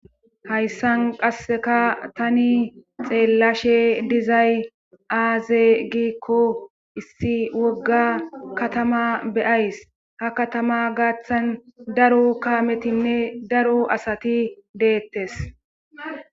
hayssan qasseka tani xeellashe dizay aaze gikko issi wogga katama beyays ha katama gaaththan daro kaametinne daro asati deettes